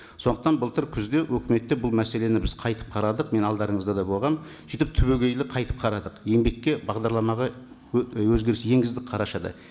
сондықтан былтыр күзде үкіметте бұл мәселені біз қайтып қарадық мен алдарыңызда да болғанмын сөйтіп түбегейлі қайтып қарадық еңбекке бағдарламаға өзгеріс енгіздік қарашада